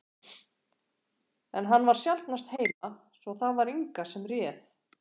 En hann var sjaldnast heima, svo það var Inga sem réð.